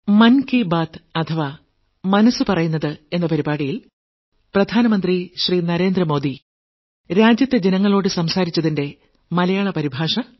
New Delhi 2023 September 24